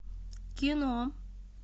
кино